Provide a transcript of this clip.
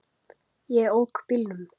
Ég ók bílnum.